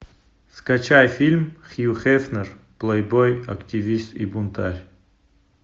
скачай фильм хью хефнер плейбой активист и бунтарь